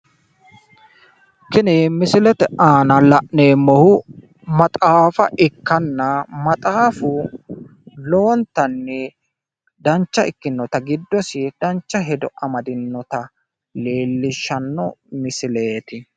Tini misilete aana la'neemmohu maxaafa ikkanna maxaafu lowontanni dancha ikkinnota giddosi dancha hedo amadinnota leellishshanno misileeti.